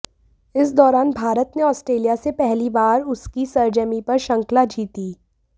इस दौरान भारत ने ऑस्ट्रेलिया से पहली बार उसकी सरजमीं पर श्रृंखला जीती